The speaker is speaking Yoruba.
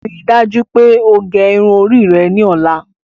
Ríì dájú pé o gé irun orí rẹ̀ ni ọla!